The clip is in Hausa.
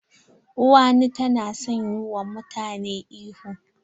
Uwani ta na son yi wa mutane ihu.